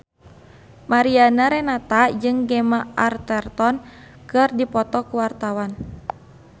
Mariana Renata jeung Gemma Arterton keur dipoto ku wartawan